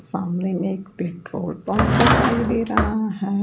सामने में एक पेट्रोल पंप दिखाई दे रहा है।